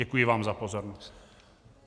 Děkuji vám za pozornost.